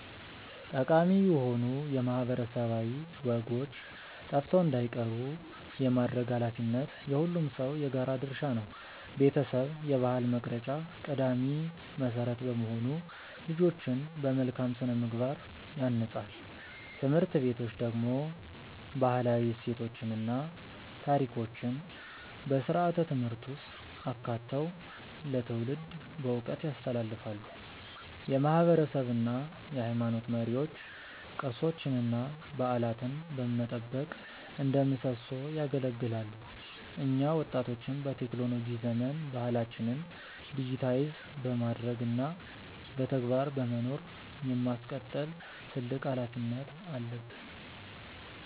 ጠቃሚ የሆኑ ማህበረሰባዊ ወጎች ጠፍተው እንዳይቀሩ የማድረግ ኃላፊነት የሁሉም ሰው የጋራ ድርሻ ነው። ቤተሰብ የባህል መቅረጫ ቀዳሚ መሰረት በመሆኑ ልጆችን በመልካም ስነ-ምግባር ያንጻል። ትምህርት ቤቶች ደግሞ ባህላዊ እሴቶችን እና ታሪኮችን በስርዓተ-ትምህርት ውስጥ አካተው ለትውልድ በዕውቀት ያስተላልፋሉ። የማህበረሰብ እና የሃይማኖት መሪዎች ቅርሶችንና በዓላትን በመጠበቅ እንደ ምሰሶ ያገለግላሉ። እኛ ወጣቶችም በቴክኖሎጂ ዘመን ባህላችንን ዲጂታይዝ በማድረግ እና በተግባር በመኖር የማስቀጠል ትልቅ ኃላፊነት አለብን።